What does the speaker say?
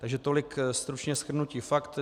Takže tolik stručně shrnutí faktů.